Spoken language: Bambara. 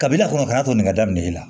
Kabini a kɔnɔ ka n'a to nin ka daminɛ i la